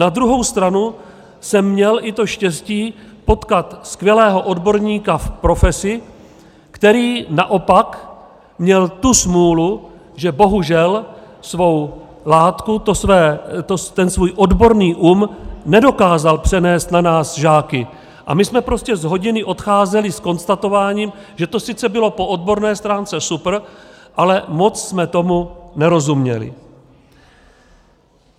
Na druhou stranu jsem měl i to štěstí, potkat skvělého odborníka v profesi, který naopak měl tu smůlu, že bohužel svou látku, ten svůj odborný um, nedokázal přenést na nás žáky a my jsme prostě z hodiny odcházeli s konstatováním, že to sice bylo po odborné stránce super, ale moc jsme tomu nerozuměli.